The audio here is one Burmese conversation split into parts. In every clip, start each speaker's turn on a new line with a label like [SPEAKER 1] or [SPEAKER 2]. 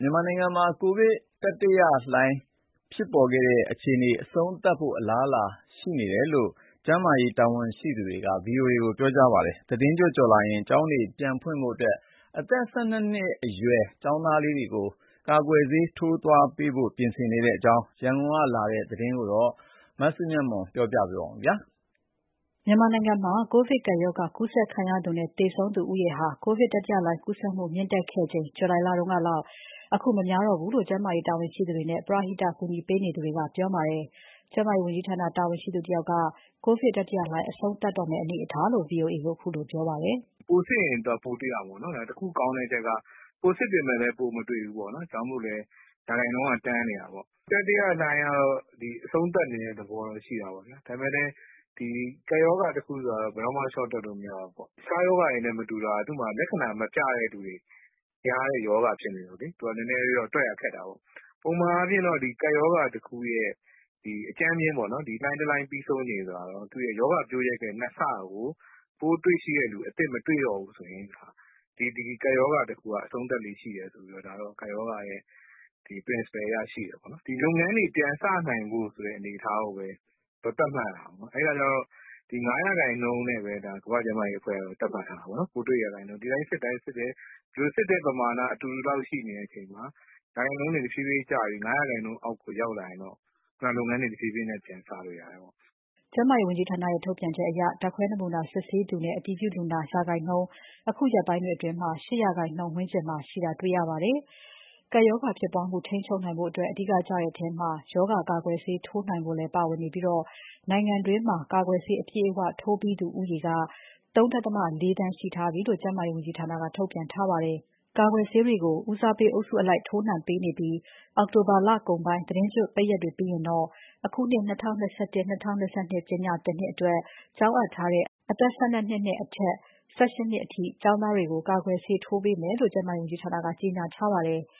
[SPEAKER 1] မြန်မာနိုင်ငံမှာ ကူးစက်ဖြစ်ပွားနေတဲ့ ကပ်ရောဂါတတိယလှိုင်း အဆုံးသတ်တော့မယ့် အလားအလာရှိနေပြီလို့ ကျန်းမာရေးဌာန တာဝန်ရှိသူက ဗီအိုအေကို ပြောပါတယ်။ သီတင်းကျွတ်ကျော်ရင် ကျောင်းတွေပြန်ဖွင့်နိုင်ဖို့အတွက် အသက် ၁၂နှစ်အရွယ် ကျောင်းသားလူငယ်တွေကိုလည်း ကာကွယ်ဆေးစထိုးပေးဖို့ ပြင်ဆင်နေတဲ့အကြောင်း ရန်ကုန်ကလာတဲ့ သတင်းကို မစုမြတ်မွန် က ပြောပြမှာပါ။ မ
[SPEAKER 2] ြန်မာနိုင်ငံမှာ ကိုဗစ်ကပ်ရောဂါကူးစက်ခံရသူနဲ့ သေဆုံးသူဦးရေဟာ ကိုဗစ်တတိယလှိုင်း ကူးစက်သူမြင့်တက်ခဲ့ချိန်ကလောက် အခု မများတောဘူးလို့ ကျန်းမာရေးတာဝန်ရှိသူတွေနဲ့ ကူညီပေးနေသူတွေက ပြောပါတယ်။ ကျန်းမာရေးဝန်ကြီးဌာန တာဝန်ရှိသူတဦးက ကိုဗစ်တတိယလှိုင်း အဆုံးသတ်တော့မယ့် အနေအထားလို့ VOA ကိုပြောပါတယ်
[SPEAKER 3] ။ "ပိုစစ်ရင် ပိုတွေ့ရတာပေါ့နော်။ ဒါပေမယ့် တခုကောင်းတဲ့အချက်က ပိုစစ်ပေမယ့်လည်း ပိုမတွေ့ဘူးပေါ့နော်။ ဒါကြောင့်မို့လည်း ရာခိုင်နှုန်းက တန်းနေတာပေါ့။ တတိယလှိုင်းကတော့ အဆုံးသတ်နေတဲ့ သဘောတော့ရှိတာပေါ့ဗျာ။ ဒါပေမယ့်လည်း ဒီကပ်ရောဂါတခုဆိုတာကတော့ ဘယ်တော့မှ လျှော့တွက်လို့မရဘူးပေါ့။ တခြားရောဂါတွေနဲ့မတူတာက သူ့မှာလက္ခဏာမပြတဲ့သူတွေ များတဲ့ရောဂါဖြစ်နေတော့လေ သူကနည်းနည်းလေးတော့ တွက်ရခက်တာပေါ့။ ပုံမှန်အားဖြင့်တော့ ကပ်ရောဂါတခုရဲ့ အကြမ်းဖျဉ်းပေါ့နော်၊ ဒီလှိုင်းတလှိုင်း ပြီးဆုံးချိန်ဆိုတာကတော့ သူ့ရဲ့ရောဂါပျိုးရက်ရဲ့ ၂ ဆကို ပိုးတွေ့ရှိတဲ့သူ အသစ်မတွေ့တော့ဘူးဆိုရင် ဒီကပ်ရောဂါတခုက အဆုံးသတ်လေ့ရှိတယ်ဆိုပြီးတော့ ကပ်ရောဂါရဲ့ principle အရ ရှိတယ်ပေါ့နော်။ ဒီလုပ်ငန်းတွေ ပြန်စနိုင်ဖို့ဆိုတဲ့ အနေအထားကိုပဲ သတ်မှတ်ရတာပေါ့။ အဲအခါကျတော့ ဒီ ၅ ရာခိုင်နှုန်းနဲ့ပဲ ကမ္ဘာ့ကျန်းမာရေးအဖွဲ့ကတော့ သတ်မှတ်ထားတာပေါ့နော်။ ပိုးတွေ့ရာခိုင်နှုန်းကို စစ်တဲ့ပမာဏအတူတူလောက် ရှိနေချိန်မှာ ရာခိုင်နှုန်းတွေ တဖြည်းဖြည်းကျပြီး ၅ ရာခိုင်နှုန်းအောက်ကို ရောက်လာရင်တော့ လုပ်ငန်းတွေ တဖြည်းဖြည်းပြန်စလို့ ရတယ်ပေါ့။
[SPEAKER 2] " ကျန်းမာရေးဝန်ကြီးဌာနရဲ့ ထုတ်ပြန်ချက်အရ ဓါတ်ခွဲနမူနာ စစ်ဆေးသူနဲ့ အတည်ပြုလူနာ ရာခိုင်နှုန်း တချို့ဖော်ပြချက်တွေအရ ၈ ရာခိုင်နှုန်းဝန်းကျင်မှာ ရှိတာတွေ့ရပါတယ်။ ကပ်ရောဂါဖြစ်ပွားမှု ထိန်းချုပ်နိုင်ဖို့အတွက် အဓိကကျတဲ့အထဲမှာ ရောဂါကာကွယ်ဆေး ထိုးနှံနိုင်ဖို့လည်း ပါဝင်နေပြီး နိုင်ငံတွင်းမှာ ကာကွယ်ဆေး အပြည့်အဝ ထိုးပြီးသူဦးရေက ၃.၉ သန်း ရှိထားပြီလို့ ကျန်းမာရေးဝန်ကြီးဌာနက ထုတ်ပြန်ထားပါတယ်။ ကာကွယ်ဆေးတွေကို ဦးစားပေးအုပ်စုအလိုက် ထိုးနှံပေးနေပြီး အောက်တိုဘာ လကုန်ပိုင်း သီတင်းကျွတ်ပိတ်ရက်တွေပြီးရင်တော့ အခုနှစ် ၂၀၂၁ - ၂၂ ပညာသင်နှစ်အတွက် ကျောင်းအပ်ထားတဲ့ အသက် ၁၂ နှစ်အထက်နဲ့ အသက် ၁၈နှစ်အရွယ်အောက် ကျောင်းသားတွေကို ကာကွယ်ဆေး ထိုးနှံပေးတော့မယ်လို့ ကျန်းမာရေးဝန်ကြီးဌာနက ကြေညာထားပါတယ်။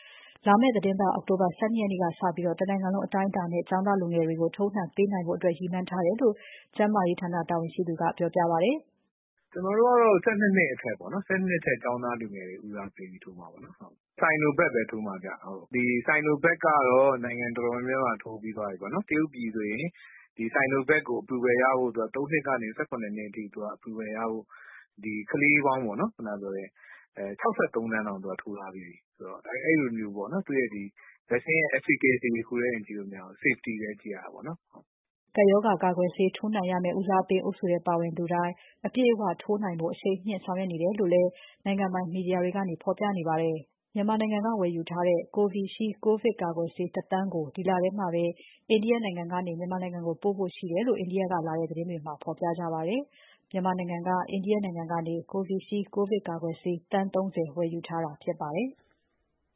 [SPEAKER 2] လာမယ့်သီးတင်းပါတ် အောက်တိုဘာ ၁၂ ရက်ကနေစပြီး တနိုင်ငံလုံးအတိုင်းအတာနဲ့ ကျောင်းသားလူငယ်တွေကို ထိုးနှံပေးနိုင်ဖို့အတွက် ရည်မှန်းထားတယ်လို့ ကျန်းမာရေးဝန်ကြီးဌာန တာဝန်ရှိသူက ဆက်ပြောပါတယ်။
[SPEAKER 3] "ကျနော်တို့ကတော့ ၁၂ နှစ်အထက်ပေါ့နော်။ ၁၂ နှစ်အထက် ကျောင်းသားလူငယ်တွေကို ဦးစားပေးပြီး ထိုးမှာပေါ့နော်။ Sinovac ပဲ ထိုးမှာဗျ။ ဒီ Sinovac ကတော့ နိုင်ငံတော်တော်များများမှာ ထိုးပြီးသွားပြီပေါ့နော်။ တရုတ်ပြည်ဆိုရင် ဒီ Sinovac ကို ၃ နှစ်ကနေ ၁၇ နှစ်အထိ approval ရဖို့ ကလေးပေါင်း ၆၃ သန်းတောင် သူကထိုးထားပြီးပြီဆိုတော့ အဲလိုမျိုးပေါ့နော် Vaccine ရဲ့ efficacy တခုတည်းတင် ကြည့်လို့မရဘူး၊ safety လည်း ကြည့်ရတာပေါ့နော်။"
[SPEAKER 2] ကပ်ရောဂါကာကွယ်ဆေး ထိုးနှံရမယ့် ဦးစားပေးအုပ်စုထဲ ပါသူတွေတိုင်း အပြည့်အဝထိုးနှံဖို့ကို အရှိန်မြှင့်ဆောင်ရွက်နေတယ်လို့လည်း နိုင်ငံပိုင်မီဒီယာတွေကနေ ဖော်ပြနေပါတယ်။ မြန်မာနိုင်ငံက ဝယ်ယူထားတဲ့ Covishield ကိုဗစ်ကာကွယ်ဆေး ၁ သန်းကို ဒီလထဲမှာပဲ အိန္ဒိယကနေ မြန်မာနိုင်ငံကို ပို့ဖို့ရှိတယ်လို့ အိန္ဒိယကလာတဲ့သတင်းတွေမှာ ဖော်ပြပါတယ်။ မြန်မာနိုင်ငံက Covishield ကိုဗစ်ကာကွယ်ဆေး သန်း ၃၀ ဝယ်ယူထားတာဖြစ်ပါတယ်။